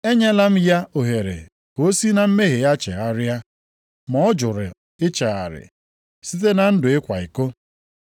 Enyela m ya ohere ka o si na mmehie ya chegharịa, ma ọ jụrụ ichegharị site na ndụ ịkwa iko.